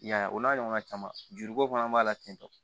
I y'a ye o n'a ɲɔgɔnna caman juruko fana b'a la tentɔ